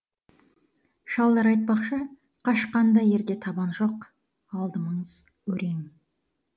шалдар айтпақшы қашқан да ерде табан жоқ алдымыз өрең